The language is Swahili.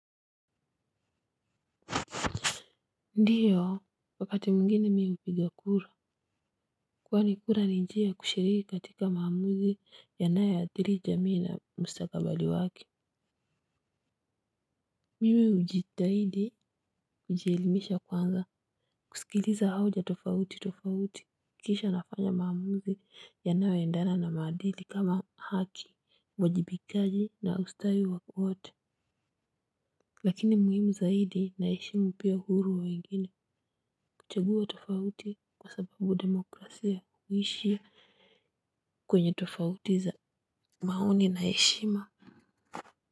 Ndiyo wakati mwingine mihupiga kura. Kwani kura nijia ya kushiriki katika maamuzi ya nayo athiri jamii na mstakabali waki. Mimi hujitahidi kujielimisha kwanza kusikiliza hoja tofauti tofauti kisha nafanya maamuzi yanayo endana na maadili kama haki uwajibikaji na ustawi wote. Lakini muhimu zaidi naheshimu pia huru wa wengine. Teguo tofauti kwa sababu democrasia huishia kwenye tofauti za maoni na heshima.